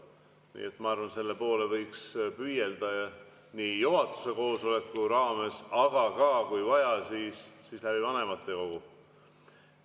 Nii et ma arvan, et selle poole võiks püüelda juhatuse koosoleku raames, aga kui vaja, siis ka läbi vanematekogu.